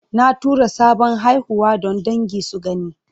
Na tura sabon haihuwa don dangi su gani.